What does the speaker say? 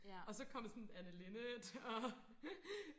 og så kom sådan Anne Linnet og